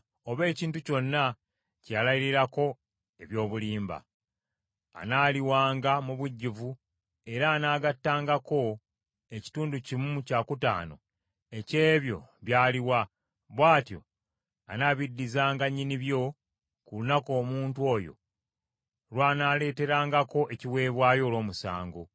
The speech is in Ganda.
oba ekintu kyonna kye yalayirirako eby’obulimba. Anaaliwanga mu bujjuvu era anaagattangako ekitundu kimu kyakutaano eky’ebyo by’aliwa; bw’atyo anaabiddizanga nnyinibyo ku lunaku omuntu oyo lw’anaaleeterangako ekiweebwayo olw’omusango.